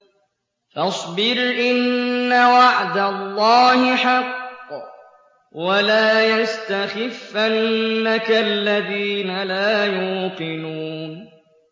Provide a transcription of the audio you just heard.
فَاصْبِرْ إِنَّ وَعْدَ اللَّهِ حَقٌّ ۖ وَلَا يَسْتَخِفَّنَّكَ الَّذِينَ لَا يُوقِنُونَ